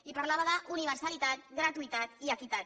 i parlava d’universalitat gratuïtat i equitat